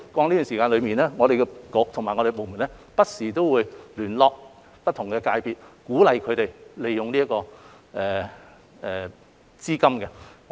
一直以來，局方和轄下部門也會不時聯絡不同界別，鼓勵他們利用這些資金。